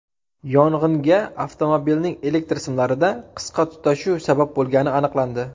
Yong‘inga avtomobilning elektr simlarida qisqa tutashuv sabab bo‘lgani aniqlandi.